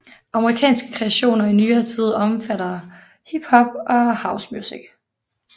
Amerikanske kreationer i nyere tid omfatter hip hop and house music